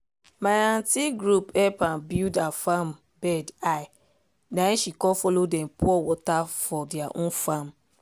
my aunty group help am build her farm bed high nai she com follow dem pour water for their own farm